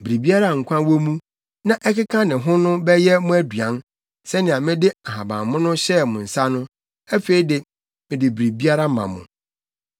Biribiara a nkwa wɔ mu, na ɛkeka ne ho no bɛyɛ mo aduan. Sɛnea mede nhabammono hyɛɛ mo nsa no, afei de, mede biribiara ma mo.